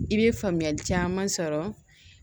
I bɛ faamuyali caman sɔrɔ